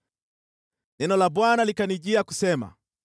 Neno la Bwana likanijia kusema: